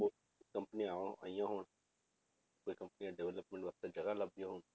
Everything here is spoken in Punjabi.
ਕੰਪਨੀਆਂ ਉਹ ਆਈਆਂ ਹੋਣ ਤੇ ਕੰਪਨੀਆਂ development ਵਾਸਤੇ ਜਗ੍ਹਾ ਲੱਭਦੀਆਂ ਹੋਣ,